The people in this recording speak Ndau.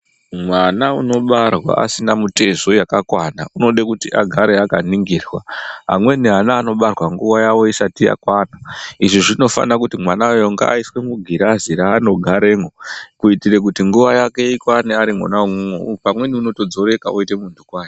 Mwana unobarwa asina mitezo yakakwana anoda kuti agare akaningirwa. Amweni ana anobarwa nguva isati yakwana izvi zvinofana kuti mwana uyo ngaaiswe mugirazi raanogaremwo. Kuitira kuti nguva yake ikwane ari mwona imwomwo pamweni unotodzoreka oita muntu kwaye.